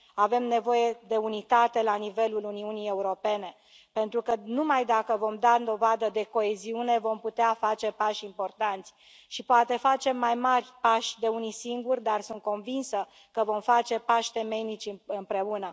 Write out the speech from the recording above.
Avem nevoie de unitate la nivelul Uniunii Europene, pentru că numai dacă vom da dovadă de coeziune vom putea face pași importanți și poate facem mai mari pași de unii singuri, dar sunt convinsă că vom face pași temeinici împreună.